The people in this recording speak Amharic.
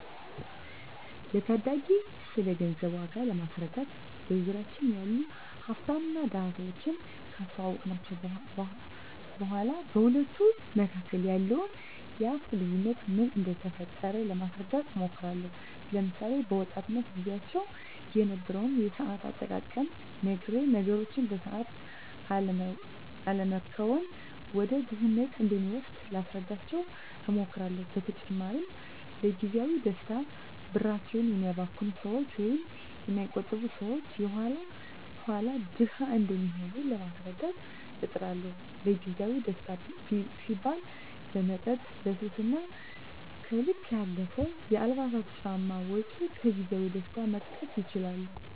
ለታዳጊወች ስለገንዘብ ዋጋ ለማስረዳት በዙሪያችን ያሉ ሀፍታምና ድሀ ሰወችን ካስታወስኳቸው በኋ በሁለቱ መካከል ያለውን የሀፍት ልዮነት ምን እደፈጠረው ለማስረዳት እሞክራለሁ። ለምሳሌ፦ በወጣትነት ግዚያቸው የነበረውን የሰአት አጠቃቀም ነግሬ ነገሮችን በሰአት አለመከወን ወደ ድህነት እንደሚወስድ ላስረዳቸው እሞክራለው። በተጨማሪም ለግዚያዊ ደስታ ብራቸውን የሚያባክኑ ሰወች ወይም የማይቆጥቡ ሰወች የኋላ ኋላ ድሀ እንደሚሆኑ ለማስረዳት እጥራለሁ። ለግዜአዊ ደስታ ሲባል ለመጠጥ፣ ለሱስ እና ከልክ ያለፈ የአልባሳትና ጫማ ወጭ ከግዜያዊ ደስታ መጠቀስ ይችላሉ።